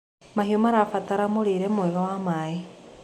Mahĩũ marabatara mũrĩre mwega na maĩ